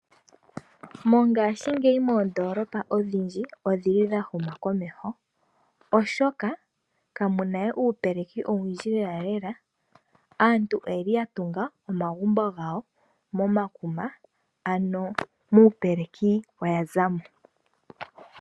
Mongashingeyi moondoolopa odhindji odhili dha huma komeho, oshoka kamuna we uupeleki owundji lela. Aantu oyeli yatunga omagumbo gawo momakuma ano muupeleki oya zamo.